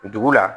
Dugu la